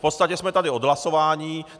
V podstatě jsme tady od hlasování.